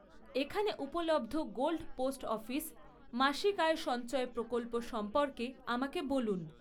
এখানে উপলব্ধ gold post office মাসিক আয় সঞ্চয় প্রকল্প সম্পর্কে আমাকে বলুন!